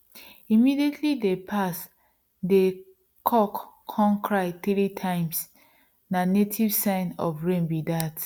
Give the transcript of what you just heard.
immediately dey pass dey c9ck come cry three times na native sign of rain be dat